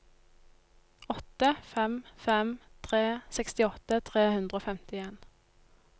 åtte fem fem tre sekstiåtte tre hundre og femtien